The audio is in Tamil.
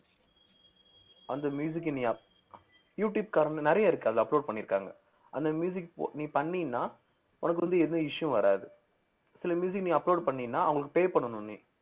அந்த நீ up~ யூடுயூப்காரங்க நிறைய இருக்கு அதுல upload பண்ணி இருக்காங்க அந்த நீ பண்ணீன்னா உனக்கு வந்து எதும் issue வராது சில நீ upload பண்ணீங்கன்னா அவங்களுக்கு pay பண்ணணும் நீ